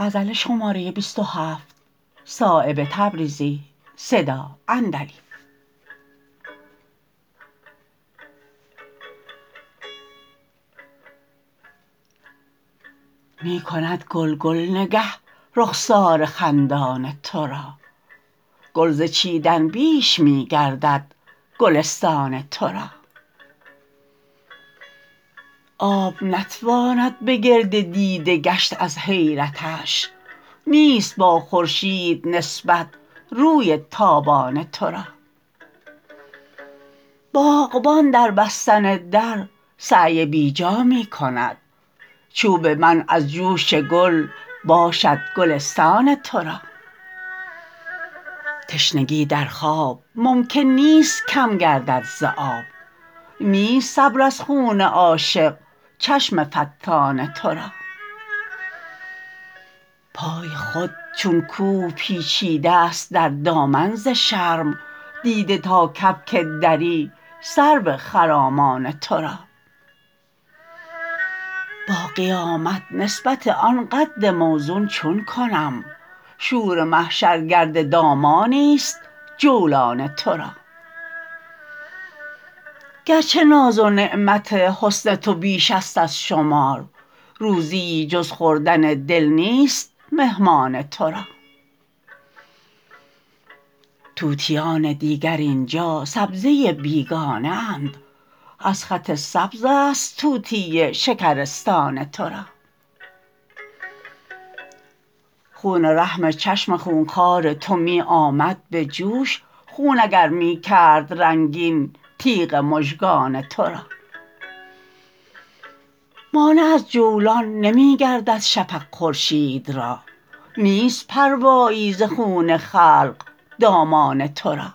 می کند گلگل نگه رخسار خندان ترا گل ز چیدن بیش می گردد گلستان ترا آب نتواند به گرد دیده گشت از حیرتش نیست با خورشید نسبت روی تابان ترا باغبان در بستن در سعی بی جا می کند چوب منع از جوش گل باشد گلستان ترا تشنگی در خواب ممکن نیست کم گردد ز آب نیست صبر از خون عاشق چشم فتان ترا پای خود چون کوه پیچیده است در دامن ز شرم دیده تا کبک دری سرو خرامان ترا با قیامت نسبت آن قد موزون چون کنم شور محشر گرد دامانی است جولان ترا گرچه ناز و نعمت حسن تو بیش است از شمار روزیی جز خوردن دل نیست مهمان ترا طوطیان دیگر اینجا سبزه بیگانه اند از خط سبزست طوطی شکرستان ترا خون رحم چشم خونخوار تو می آمد به جوش خون اگر می کرد رنگین تیغ مژگان ترا مانع از جولان نمی گردد شفق خورشید را نیست پروایی ز خون خلق دامان ترا